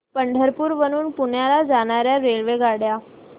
पंढरपूर वरून पुण्याला जाणार्या रेल्वेगाड्या